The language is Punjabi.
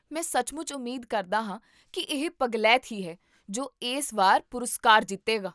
ਮੈਂ ਸੱਚਮੁੱਚ ਉਮੀਦ ਕਰਦਾ ਹਾਂ ਕੀ ਇਹ ਪਗਲੈਤ ਹੀ ਹੈ ਜੋ ਇਸ ਵਾਰ ਪੁਰਸਕਾਰ ਜਿੱਤੇਗਾ